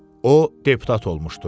O deputat olmuşdu.